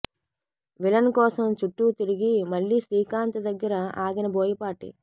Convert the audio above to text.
villain కోసం చుట్టూ తిరిగి మళ్ళీ శ్రీకాంత్ దగ్గర ఆగిన బోయపాటి